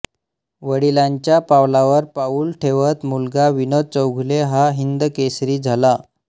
वडिलांच्या पावलावर पाऊल ठेवत मुलगा विनोद चौगुले हा हिंदकेसरी झाला